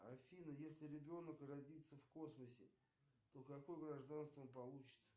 афина если ребенок родится в космосе то какое гражданство он получит